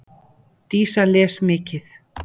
Dísa les mikið.